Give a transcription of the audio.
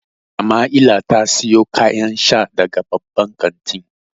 Samaila ta siyo kayan sha daga babban kantin.